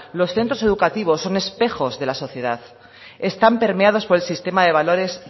los centros educativos son espejos de la sociedad están permeados por el sistema de valores